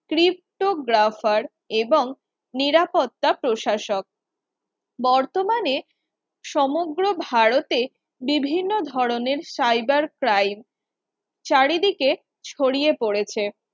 ptographer এবং নিরাপত্তা প্রশাসক বর্তমানে সমগ্র ভারতে বিভিন্ন ধরনের cyber crime চারিদিকে ছড়িয়ে পড়েছে